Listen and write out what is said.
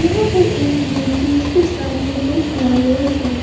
यहां पर एक मूर्ति उसके सामने दो फ्लावर्स है।